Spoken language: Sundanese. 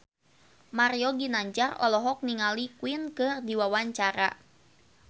Mario Ginanjar olohok ningali Queen keur diwawancara